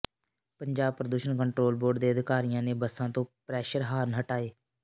ਪੰਜਾਬ ਪ੍ਰਦੂਸ਼ਣ control board ਦੇ ਅਧਿਕਾਰੀਆਂ ਨੇ ਬੱਸਾਂ ਤੋਂ ਪ੍ਰੈਸ਼ਰ ਹਾਰਨ ਹਟਾਏ